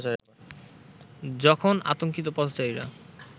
যখন আতঙ্কিত পথচারীরা